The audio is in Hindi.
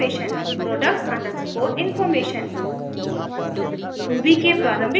product underscore information